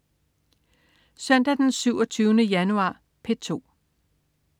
Søndag den 27. januar - P2: